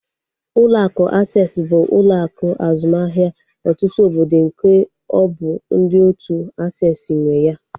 Ụlọ akụ Aksesị bụ ụlọ akụ azụmahịa ọtụtụ obodo nke ọ bụ ndị otu aksesị nwe ya